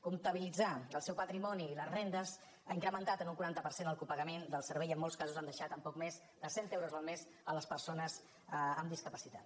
comptabilitzar el seu patrimoni i les rendes ha incrementat en un quaranta per cent el copagament del servei i en molts casos han deixat amb poc més de cent euros el mes les persones amb discapacitat